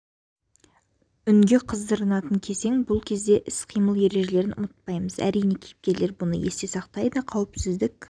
үнге қыздырынатын кезең бұл ретте іс-қимыл ережелерін де ұмытпаймыз әрине кейіпкерлер бұны есте сақтайды қауіпсіздік